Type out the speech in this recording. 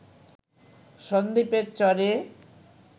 সন্দ্বীপের চরে